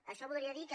això voldria dir que